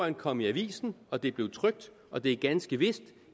det kom i avisen og det blev trykt og det er ganske vist